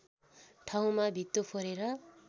ठाउँमा भित्तो फोरेर